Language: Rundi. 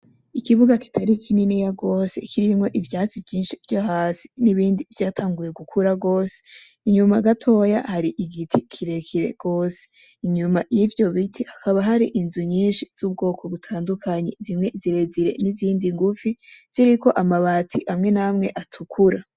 Ikibuga kitari kininiya gose kirimwo ivyatsi vyinshi vyo hasi; n'ibindi vyatanguye gukura gose, inyuma gatoya hari igiti kirekire gose, inyuma y'ivyo biti hakaba hari inzu nyinshi z'ubwoko butandukanye, zimwe zirezire; n'izindi ngufi ziriko amabati amwe n'amwe atukura.